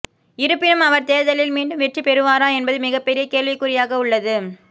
இருப்பினும் அவர் தேர்தலில் மீண்டும் வெற்றி பெறுவாரா என்பது மிகப் பெரிய கேள்விக்குறியாக உள்ளது